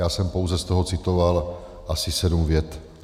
Já jsem pouze z toho citoval asi sedm vět.